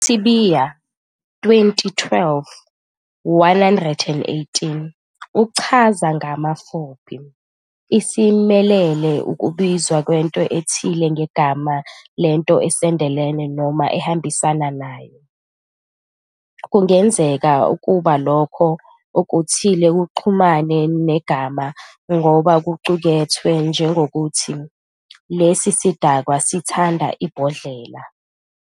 USibiya, 2012- 118, uchaza ngamafuphi- "Isimeleli wukubizwa kwento ethile ngegama lento esondelene noma ehambisana nayo." Kungenzeka ukuba lokho okuthile kuxhumane negama ngoba kuqukethwe, njengokuthi, 'Lesi sidakwa sithanda ibhodlela'"